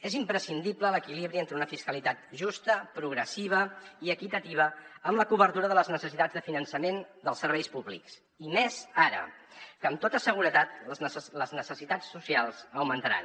és imprescindible l’equilibri entre una fiscalitat justa progressiva i equitativa amb la cobertura de les necessitats de finançament dels serveis públics i més ara que amb tota seguretat les necessitats socials augmentaran